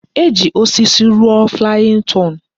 E ji osisi rụọ flayin ton